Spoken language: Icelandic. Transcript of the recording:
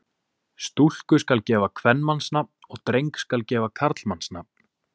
Stúlku skal gefa kvenmannsnafn og dreng skal gefa karlmannsnafn.